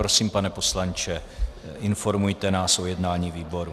Prosím, pane poslanče, informujte nás o jednání výboru.